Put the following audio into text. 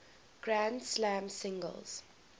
grand slam singles